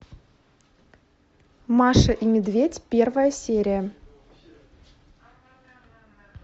маша и медведь первая серия